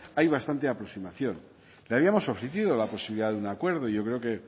hay bastante aproximación le habíamos ofrecido la posibilidad de un acuerdo yo creo que